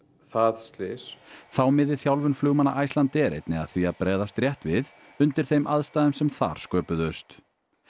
það slys þá miði þjálfun flugmanna Icelandair einnig að því að bregðast rétt við undir þeim aðstæðum sem þar sköpuðust